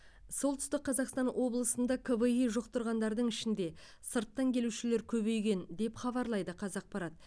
солтүстік қазақстан облысында кви жұқтырғандардың ішінде сырттан келушілер көбейген деп хабарлайды қазақпарат